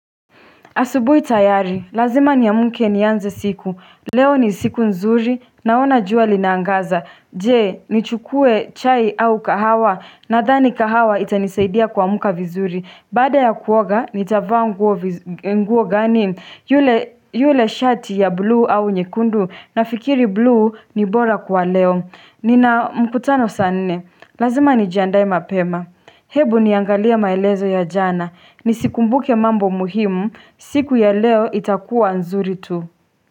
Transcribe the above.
Asubuhi tayari, lazima nia mke ni anze siku, leo ni siku nzuri, naona jua linangaza, je, ni chukue chai au kahawa, na dhani kahawa itanisaidia kuamka vizuri, bada ya kuoga, nitavaa nguo gani, yule shati ya blue au nyekundu, nafikiri blue ni bora kwa leo Nina mkutano saa nne, lazima ni jiandae mapema Hebu niangalia maelezo ya jana, nisikumbuke mambo muhimu, siku ya leo itakuwa nzuri tu.